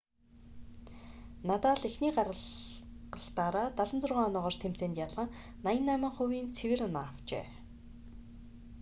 надал эхний гаргалтаараа 76 оноогоор тэмцээнд ялан 88%-ийн цэвэр оноо авчээ